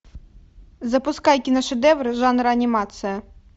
запускай киношедевры жанр анимация